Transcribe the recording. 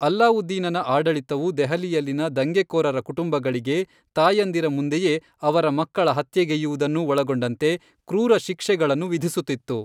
ಅಲ್ಲಾವುದ್ದೀನನ ಆಡಳಿತವು ದೆಹಲಿಯಲ್ಲಿನ ದಂಗೆಕೋರರ ಕುಟುಂಬಗಳಿಗೆ, ತಾಯಂದಿರ ಮುಂದೆಯೇ ಅವರ ಮಕ್ಕಳ ಹತ್ಯೆಗೈಯ್ಯುವುದನ್ನೂ ಒಳಗೊಂಡಂತೆ ಕ್ರೂರ ಶಿಕ್ಷೆಗಳನ್ನು ವಿಧಿಸುತ್ತಿತ್ತು.